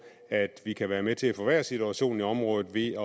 at vi kan være med til at forværre situationen i området ved